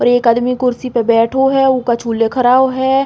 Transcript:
और एक आदमी कुर्सी पे बैठो है। उ कछु लिख रओ है।